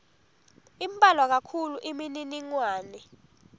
imbalwa kakhulu imininingwane